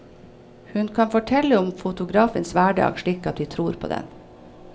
Hun kan fortelle om fotografens hverdag slik at vi tror på den.